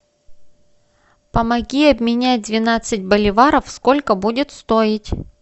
помоги обменять двенадцать боливаров сколько будет стоить